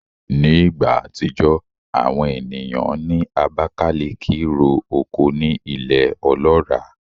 Ní ìgbà àtijọ́, àwọn ènìyàn ní Abakalaki ro oko ní ilẹ̀ ọlọ́ràá